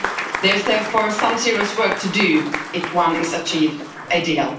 There is therefore some serious work to do if one is to achieve a deal.